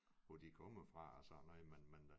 Hvor de kommer fra og sådan noget men men